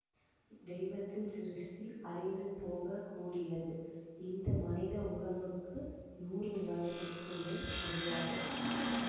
தெய்வத்தின் சிருஷ்டி அழிந்து போக கூடியது இந்த மனித உடம்புக்கு நூறு வயதுக்கு மேல் கிடையாது